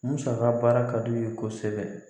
Musaka baara ka d'u ye kosɛbɛ